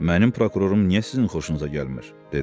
Mənim prokurorum niyə sizin xoşunuza gəlmir, dedi.